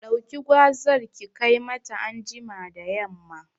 Ɗauki gwazar ki kai mata anjima da yamma